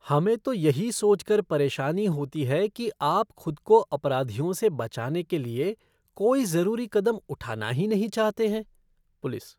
हमें तो यही सोचकर परेशानी होती है कि आप खुद को अपराधियों से बचाने के लिए कोई ज़रूरी कदम उठाना ही नहीं चाहते हैं। पुलिस